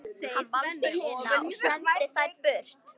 Hann valdi hina og sendi þær burt.